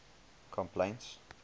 complaints